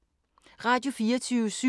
Radio24syv